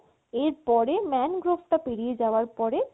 এর পরে mangrove তা পেরিয়ে যাওয়ার পরে